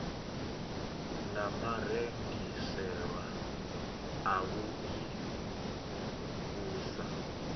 na marengisele avhui u sa